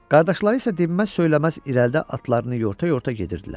Qardaşları isə dinməz-söyləməz irəlidə atlarını yorta-yorta gedirdilər.